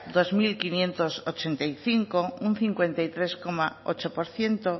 dos mil quinientos ochenta y cinco un cincuenta y tres coma ocho por ciento